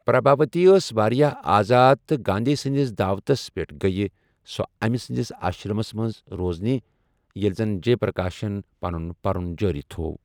پرٛبھاؤتی ٲس واریاہ آزاد تہٕ گانٛدھی سٕنٛدِس دعوتَس پیٚٹھ گٔیہٕ سۄ أمہِ سٕنٛدِس آشرَمس منٛز روزنہِ ییلہِ زن جے پرٛکاشن پَنُن پَرُن جٲری تھوو۔